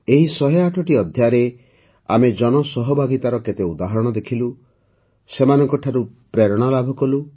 ଏହି ୧୦୮ଟି ଅଧ୍ୟାୟରେ ଆମେ ଜନସହଭାଗୀତାର କେତେ ଉଦାହରଣ ଦେଖିଲୁ ସେମାନଙ୍କ ଠାରୁ ପ୍ରେରଣା ଲାଭ କଲୁ